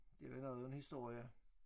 Det var noget af en historie